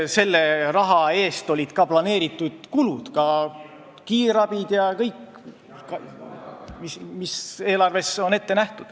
Selle raha eest olid planeeritud kulud, ka kulutused kiirabile.